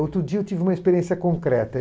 Outro dia eu tive uma experiência concreta.